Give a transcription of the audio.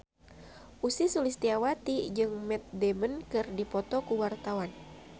Ussy Sulistyawati jeung Matt Damon keur dipoto ku wartawan